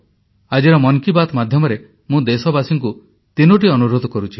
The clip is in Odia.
ଆଜିର ମନ୍ କି ବାତ୍ ମାଧ୍ୟମରେ ମୁଁ ଦେଶବାସୀଙ୍କୁ ତିନୋଟି ଅନୁରୋଧ କରୁଛି